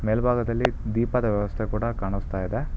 ಮೇಲ್ಬಾಗದಲ್ಲಿ ದೀಪದ ವ್ಯವಸ್ತೆ ಕೂಡ ಕಾಣಸ್ತಾ ಇದೆ.